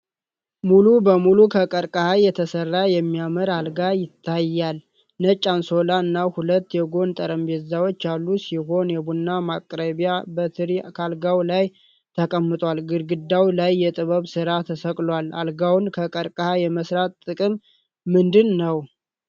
ሙሉ በሙሉ ከቀርከሃ የተሠራ የሚያምር አልጋ ይታያል። ነጭ አንሶላ እና ሁለት የጎን ጠረጴዛዎች ያሉት ሲሆን የቡና ማቅረቢያ በትሪ ከአልጋው ላይ ተቀምጧል። ግድግዳው ላይ የጥበብ ሥራ ተሰቅሏል። አልጋውን ከቀርከሃ የመሥራት ጥቅም ምንድን ነው?